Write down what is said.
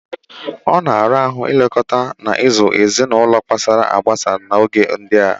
Ọ na-ara ahụ ilekọta na ịzụ ezinaulo kpasara agbasa n'oge ndia.